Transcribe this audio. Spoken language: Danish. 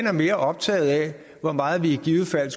er mere optaget af hvor meget vi i givet fald